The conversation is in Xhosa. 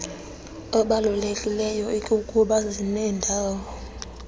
obalulekileyo ikukuba zinendawo